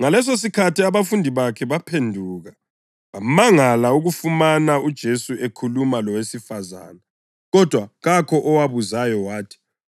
Ngalesosikhathi abafundi bakhe baphenduka, bamangala ukufumana uJesu ekhuluma lowesifazane. Kodwa kakho owabuzayo wathi,